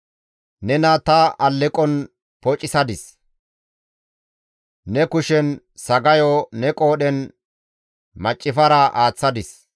Nena ta alleqon pocissadis; ne kushen sagayo, ne qoodhen maccifara aaththadis.